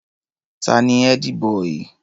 Ta ni ẹ́dí-bọì?